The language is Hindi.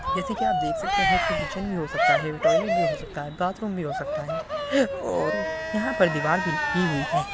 जेसे की आप देख सकते है इसमे किचेन भी हो सकता है टॉइलेट भी हो सकता है बाथरूम भी हो सकता है और यहा पर दीवार भी लगी हुई है।